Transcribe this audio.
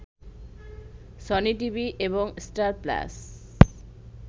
Sony TV এবং Star plus